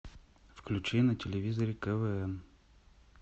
включи на телевизоре квн